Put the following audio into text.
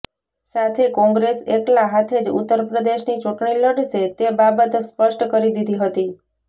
સાથે કોંગ્રેસ એકલા હાથે જ ઉત્તર પ્રદેશની ચૂંટણી લડશે તે બાબત સ્પષ્ટ કરી દીધી હતી